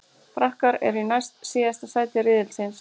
Frakkar eru í næst síðasta sæti riðilsins.